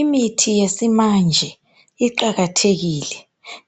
Imithi yesimanje iqakathekile